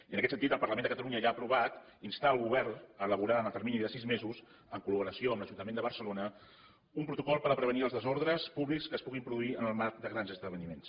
i en aquest sentit el parlament de catalunya ja ha aprovat instar el govern a elaborar en el termini de sis mesos en col·laboració amb l’ajuntament de barcelona un protocol per prevenir els desordres públics que es puguin produir en el marc de grans esdeveniments